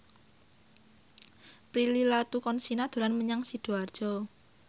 Prilly Latuconsina dolan menyang Sidoarjo